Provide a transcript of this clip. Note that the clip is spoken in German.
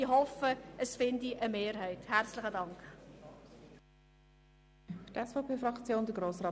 Ich hoffe, dieser Antrag findet eine Mehrheit.